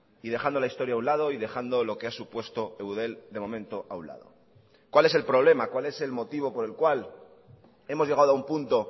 y dejando la historia a un lado y dejando lo que ha supuesto eudel de momento a un lado cuál es el problema cuál es el motivo por el cual hemos llegado a un punto